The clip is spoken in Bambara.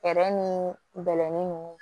ni bɛlɛnin ni